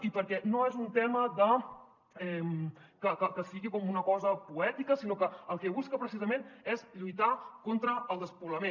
i perquè no és un tema que sigui com una cosa poètica sinó que el que es busca precisament és lluitar contra el despoblament